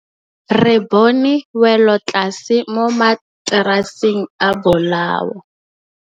Re bone wêlôtlasê mo mataraseng a bolaô.